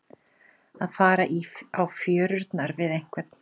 Að fara á fjörurnar við einhvern